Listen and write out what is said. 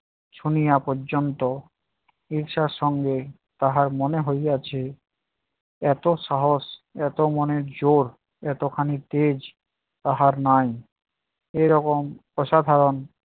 শুনিয়া পর্যন্ত ঈর্ষার সঙ্গে তাহার মনে হইয়াছে, এত সাহস এত মনের জোড় এতখানি তেজ তাহার নাই। এইরকম অসাধারণ